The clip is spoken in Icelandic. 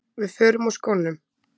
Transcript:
Við förum úr skónum.